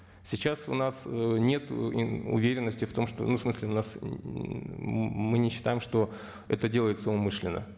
сейчас у нас ы нет уверенности в том что ну всмысле у нас ммм мы не считаем что это делается умышленно